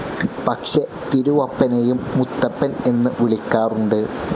പക്ഷെ തിരുവപ്പനെയും മുത്തപ്പൻ എന്നു വിളിക്കാറുണ്ട്.